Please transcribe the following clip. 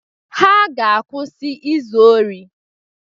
Ha ga-akwụsị izu ori.